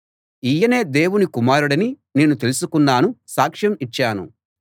ఈయనే దేవుని కుమారుడని నేను తెలుసుకున్నాను సాక్షం ఇచ్చాను